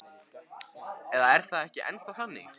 Eða er það ekki ennþá þannig?